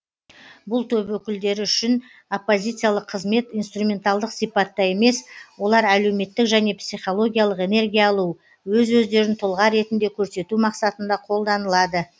бұл топ өкілдері үшін оппозициялық қызмет инструменталдық сипатта емес олар әлеуметтік және психологиялық энергия алу өз өздерін тұлға ретінде көрсету мақсатында қолданылады